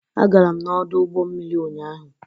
Agara m n'ọdụ ụgbọ mmiri ụnyaahụ.